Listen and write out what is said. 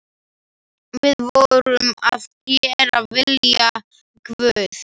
Við vorum að gera vilja Guðs.